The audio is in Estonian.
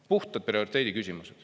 Puhta prioriteedi küsimused.